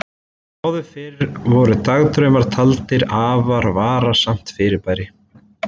Áður fyrr voru dagdraumar taldir afar varasamt fyrirbæri.